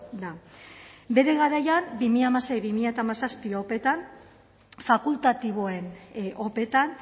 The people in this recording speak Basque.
da bere garaian bi mila hamasei bi mila hamazazpi opeetan fakultatiboen opeetan